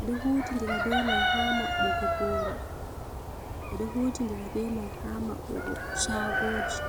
edo huuti dira be mai ha mabbugo boro edo huuti ndira be mai ha maɓbugo shagoji.